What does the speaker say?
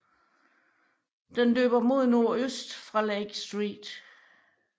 Den løber mod nordøst fra Lake St